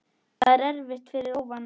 Það erfitt er fyrir óvana.